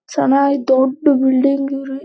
ಸನ್ನ ಇದು ದೊಡ್ಡ ಬಿಲ್ಡಿಂಗ್ ಇವ್ರಿ-